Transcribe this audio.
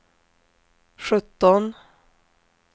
sjutton